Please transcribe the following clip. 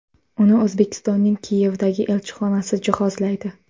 Uni O‘zbekistonning Kiyevdagi elchixonasi jihozlaydi.